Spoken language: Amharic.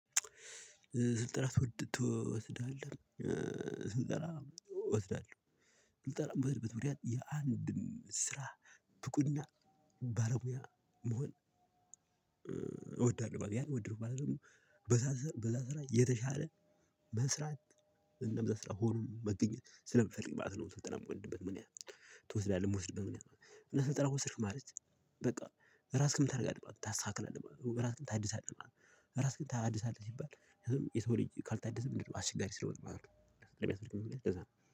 ስልጠና ትወስዳለህ ስልጠና እወስዳለሁ ስልጠና የምወስድበት ምክንያት የአንድን ስራ ብቁ እና ባለሙያ መሆን። በቃ ያንወደድሁ ማለት ደግሞ በዛ ስራ የተሻለ መስራት እንደዛ ስራ ሆኖ መገኘት ስለምፈልግ ማለት ነው። ስልጠናየምወድበት ምክንያት። ትወስዳለህ የምወስድበት ምክንያት? እና ስልጠና ወሰድኩ ማለት በቃ ራስክም ታድጋለህ ታስተካክላለህ ራስክም ታድሳለህ። ራስክን ታድሳለህ ሲባል የሰው ልጅ ካልታደሰ ምንድነው? አስቸጋሪ ስለሆነ ማለት ነው። እንደዛ ነው